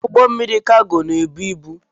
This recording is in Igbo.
Ụgbọ mmiri Kago na-ebu ibu.